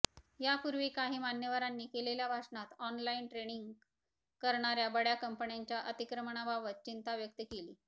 यापूर्वी काही मान्यवरांनी केलेल्या भाषणात ऑनलाईन ट्रेडिंग करणार्या बड्या कंपन्यांच्या अतिक्रमणाबाबत चिंता व्यक्त केली